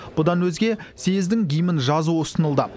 бұдан өзге съездің гимнін жазу ұсынылды